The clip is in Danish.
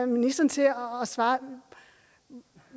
ministeren til at svare på